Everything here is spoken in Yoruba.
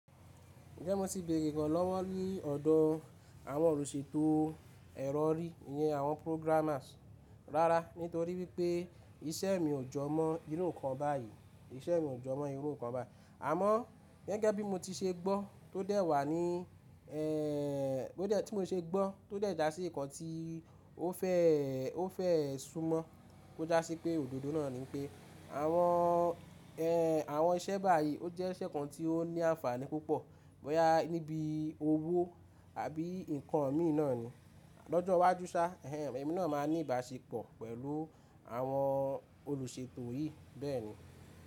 Ǹjẹ́ mo ti bèrè iranlowo ní ọ̀dọ àwọn olùṣètò ẹ̀rọ orí, ìyẹn àwọn programmers, rárá nítorí wípé iṣẹ́ mi ò jọ mọ irú nǹkan báyìí, iṣẹ́ mi ò jọ mọ irú nǹkan báyìí. Àmọ́ gẹ́gẹ́ bí mo ti ṣe gbọ́ tó dẹ̀ wá ní, èè tó dé tí mo ṣe gbọ́ tó dẹ̀ já sí Ìkọ́ tí ó fẹ́, ó fẹ́ sùnmọ́ kó já sí pé òdodo náà ni pé àwọn, ẹ́ẹ̀ àwọn iṣẹ́ báyìí ó jẹ́ iṣẹ́ kan tí ó ní àǹfààní púpọ̀, boyà níbi owó àbí nǹkan mí náà ni. Lọ́jọ́ iwájú sá, ẹ́ẹ̀ ẹmi náà máa ní ìbáṣepọ̀ pẹ̀lú àwọn olùṣètò yìí bẹ́ẹ̀ni.